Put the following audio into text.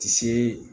Tisi